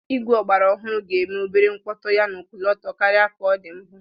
Igwe ọgbara ọhụrụ ga-eme obere mkpọtụ yana ọkọlọtọ karịa ka ọ dị mbụ.